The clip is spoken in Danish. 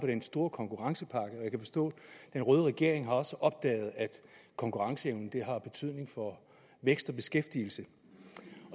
på den store konkurrencepakke jeg kan forstå at den røde regering også har opdaget at konkurrenceevnen har betydning for vækst og beskæftigelse